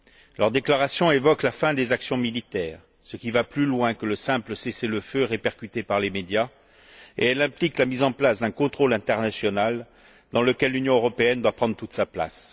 Leur déclaration évoque la fin des actions militaires, ce qui va plus loin que le simple cessez le feu répercuté par les médias, et elle implique l'établissement d'un contrôle international dans lequel l'Union européenne doit prendre toute sa place.